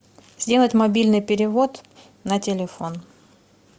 сделать мобильный перевод на телефон